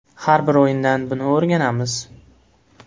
Har bir o‘yindan buni o‘rganamiz.